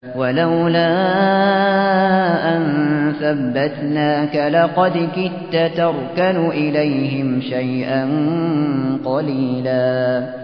وَلَوْلَا أَن ثَبَّتْنَاكَ لَقَدْ كِدتَّ تَرْكَنُ إِلَيْهِمْ شَيْئًا قَلِيلًا